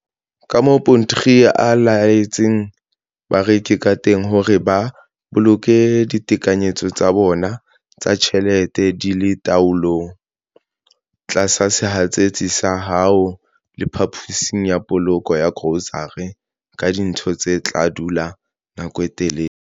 Kamoo Potgieter a eletsang bareki kateng hore ba boloke ditekanyetso tsa bona tsa ditjhelete di le taolong- Tlatsa sehatsetsi sa hao le phaposi ya polokelo ya grosare ka dintho tse tla dula nako e telele.